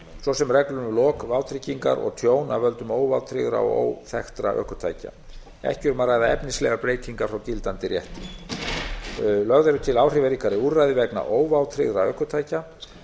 svo sem reglur um lok vátryggingar og tjón af völdum óvátryggðra og óþekktra ökutækja ekki er þar um að ræða efnislegar breytingar frá gildandi rétti lögð eru til áhrifaríkari úrræði vegna óvátryggðra ökutækja